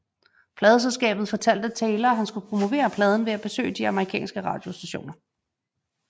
Pladeselskabet fortalte Taylor at han skulle promovere pladen ved at besøge de amerikanske radiostationer